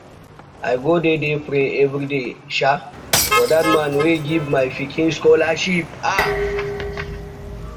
i go dey dey pray everyday um for dat man wey give my pikin scholarship